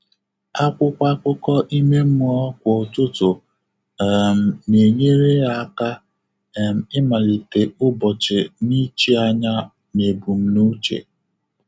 Ákwụ́kwọ́ ákụ́kọ́ ímé mmụ́ọ́ kwá ụ́tụ́tụ̀ um nà-ényéré yá áká um ị́màlíté ụ́bọ́chị̀ nà ìchí ányá nà ébùmnúché.